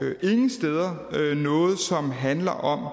ingen steder noget som handler om